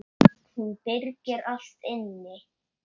Hún byrgir allt inni.